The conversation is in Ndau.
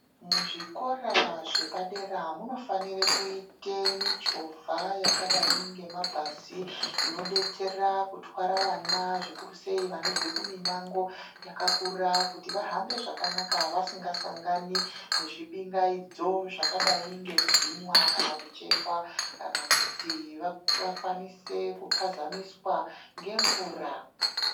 Muzvikora zvepadera munofanire kuite michovha yakadai ngemabhazi, inodetsera kutwara vana zvikurusei vanobva mimango yakakura kuti vahambe zvakanaka vasingasangani nezvibingaidzo zvakadai ngekubhinywa kana kuchekwa kana kuti vakwanise kuphazamiswa ngemvura.